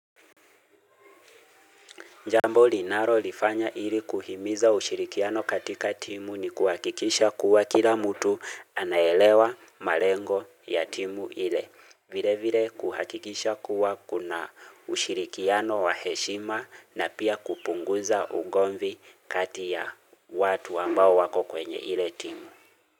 Jambo linalo lifanya ili kuhimiza ushirikiano katika timu ni kuhakikisha kuwa kila mutu anaelewa malengo ya timu ile. Vile vile kuhakikisha kuwa kuna ushirikiano wa heshima na pia kupunguza ugomvi kati ya watu ambao wako kwenye ile timu.